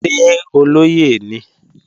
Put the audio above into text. Ṣé olóyè ni?